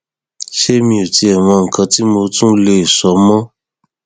ṣé mi ò tiẹ mọ nǹkan tí mo tún lè sọ mọ